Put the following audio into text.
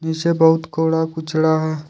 नीचे बहुत कूड़ा कचड़ा है।